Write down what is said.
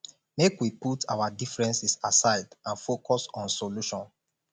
make we put our differences aside and focus on solution